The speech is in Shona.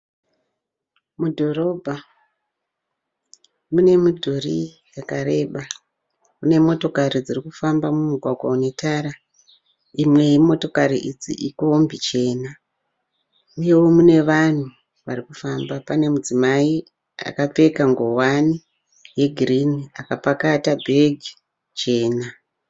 Mudhorobha mune midhuri yakareba, mune motokari dziri kufamba mumugwagwa une tara, imwe yemotokari idzi ikombi chena, uyewo mune vanhu varikufamba. Pane mudzimai akapfeka ngowani yegirini akapakata bhegi chena.